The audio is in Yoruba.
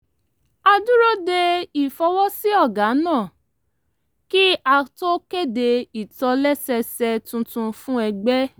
a dúró de ìfọwọ́sí ọ̀gá náà kí a tó kéde ìtòlẹ́sẹẹsẹ tuntun fún ẹgbẹ́